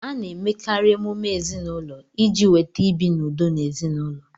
A na-emekarị emume ezinaụlọ iji weta ibi n'udo n'ezinaụlọ